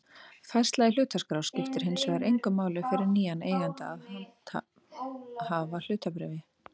Færsla í hlutaskrá skiptir hins vegar engu máli fyrir nýjan eiganda að handhafahlutabréfi.